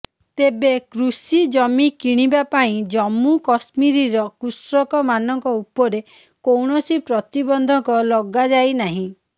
ତେବେ କୃଷି ଜମି କିଣିବା ପାଇଁ ଜମ୍ମୁ କଶ୍ମୀରର କୃଷକମାନଙ୍କ ଉପରେ କୌଣସି ପ୍ରତିବନ୍ଧକ ଲଗାଯାଇ ନାହିଁ